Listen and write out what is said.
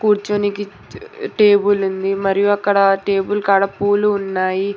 కూర్చొనికి table ఉంది మరియు అక్కడ టేబుల్ కాడ పూలు ఉన్నాయి.